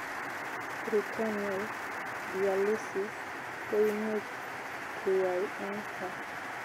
Peritoneal dialysis koimuch keyai eng kaa